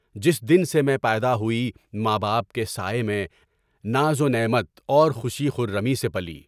جس دن سے میں پیدا ہوئی، ماں باپ کے سایۂ میں ناز و نعمت اور خوشی و خرمی سے پلی۔